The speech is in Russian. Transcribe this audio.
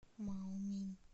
маомин